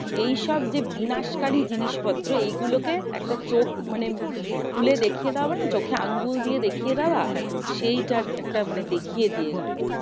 এইসব যে বিনাশকারী জিনিসপত্র এইগুলো কে, একটা চোখ মানে খুলে দেখিয়ে দেওয়া মানে চোখে আঙ্গুল দিয়ে দেখিয়ে দেওয়া সেইটা একটা মানে দেখিয়ে দিয়ে গেলো।